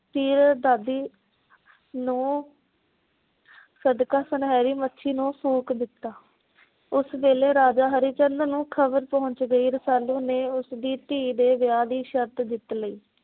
ਤੀਰ ਦਾਜ਼ੀ ਨੂੰ ਸਦਕਾ ਸੁਨਹਿਰੀ ਮੱਛੀ ਨੂੰ ਫੂਕ ਦਿੱਤਾ। ਉਸ ਵੇਲੇ ਰਾਜਾ ਹਰੀ ਚੰਦ ਨੂੰ ਖਬਰ ਪਹੁੰਚ ਗਈ। ਰਸਾਲੂ ਨੇ ਉਸ ਦੀ ਧੀ ਦੇ ਵਿਆਹ ਦੀ ਸ਼ਰਤ ਜਿੱਤ ਲਈ।